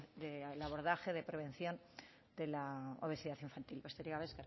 el abordaje de prevención de la obesidad infantil besterik gabe